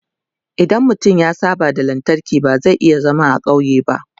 idan mutum ya saba da lantarki ba zai iya zaman ƙauye ba